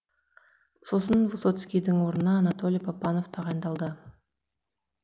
сосын высоцкийдің орнына анатолий папанов тағайындалды